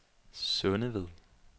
Sundeved